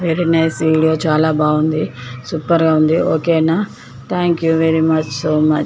Very nice video చాలా బాగుంది. Super గ ఉంది. ఓకే న thank you very much so much .